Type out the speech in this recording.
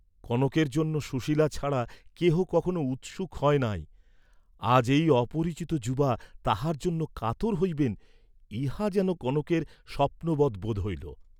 কনকের জন্য সুশীলা ছাড়া কেহ কখনো উৎসুক হন নাই, আজ এই অপরিচিত যুবা তাহার জন্য কাতর হইবেন, ইহা যেন কনকের স্বপ্নবৎ বোধ হইল।